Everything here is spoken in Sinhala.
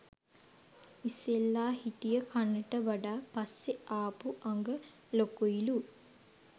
ඉස්සෙල්ලා හිටිය කනට වඩා පස්සේ ආපු අඟ ලොකුයිලු